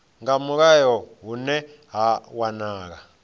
nga mulayo hune ha wanala